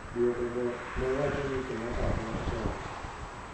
duoko go ne wacho ni Kenyatta ema otelo